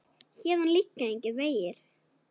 Héðan liggja engir vegir.